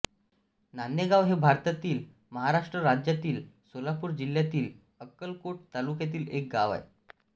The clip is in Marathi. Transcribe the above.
नान्हेगाव हे भारतातील महाराष्ट्र राज्यातील सोलापूर जिल्ह्यातील अक्कलकोट तालुक्यातील एक गाव आहे